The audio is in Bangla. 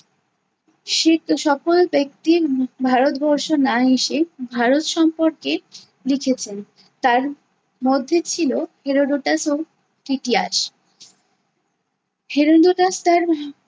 সকল ব্যক্তির উহ ভারতবর্ষ না এসে ভারত সম্পর্কে লিখেছেন। তার মধ্যে ছিল হেরোডোটাস ও হেরোডোটাস তার